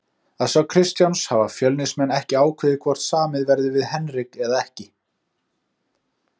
Að sögn Kristjáns hafa Fjölnismenn ekki ákveðið hvort samið verði við Henrik eða ekki.